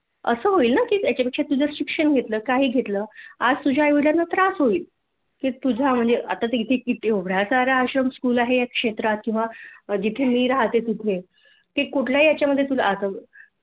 अस होईल ना त्यापेक्षा तुझ शिक्षण घेतल किंवा काही घेतल आज तुझ्या आई वडीलांंना त्रास होईल आता किती आश्रम स्कूलआहेत या क्षेत्रात किंवा जिथे मी राहते तिथे कुठल्याही याच्यामधे तुला आसरा देईल